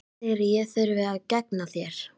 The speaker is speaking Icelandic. Hver segir að ég þurfi að gegna þér?